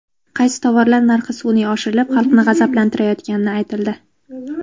Qaysi tovarlar narxi sun’iy oshirilib, xalqni g‘azablantirayotgani aytildi .